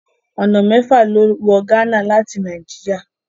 Ọ̀nà mẹ́fà ló wọ Ghana láti Nàìjíríà.